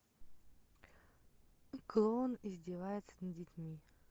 клоун издевается над детьми